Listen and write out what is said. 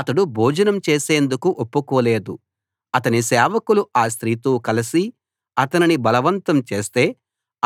అతడు భోజనం చేసేందుకు ఒప్పుకోలేదు అతని సేవకులు ఆ స్త్రీతో కలసి అతనిని బలవంతం చేస్తే